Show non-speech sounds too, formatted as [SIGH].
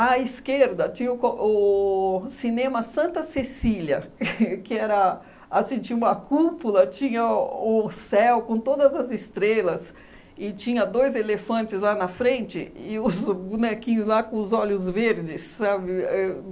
esquerda, tinha o co o cinema Santa Cecília, [LAUGHS] que era assim que tinha uma cúpula, tinha o céu com todas as estrelas, e tinha dois elefantes lá na frente, e [LAUGHS] os bonequinhos lá com os olhos verdes, sabe? Éh